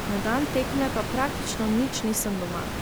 Na dan tekme pa praktično nič nisem doma.